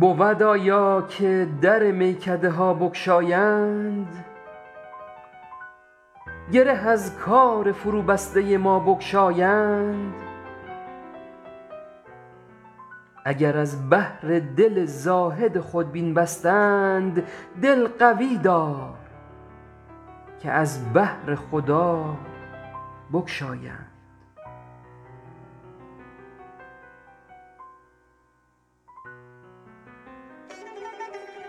بود آیا که در میکده ها بگشایند گره از کار فروبسته ما بگشایند اگر از بهر دل زاهد خودبین بستند دل قوی دار که از بهر خدا بگشایند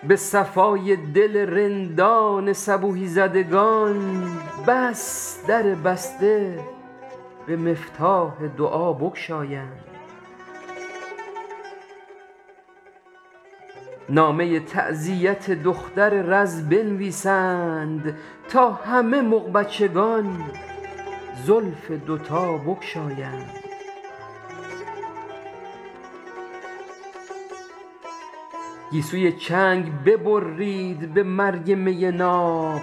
به صفای دل رندان صبوحی زدگان بس در بسته به مفتاح دعا بگشایند نامه تعزیت دختر رز بنویسید تا همه مغبچگان زلف دوتا بگشایند گیسوی چنگ ببرید به مرگ می ناب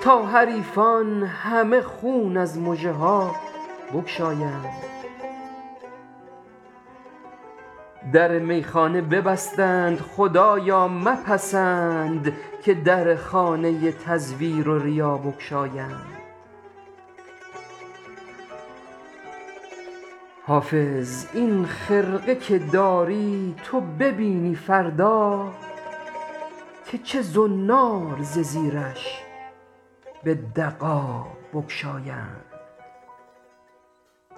تا حریفان همه خون از مژه ها بگشایند در میخانه ببستند خدایا مپسند که در خانه تزویر و ریا بگشایند حافظ این خرقه که داری تو ببینی فردا که چه زنار ز زیرش به دغا بگشایند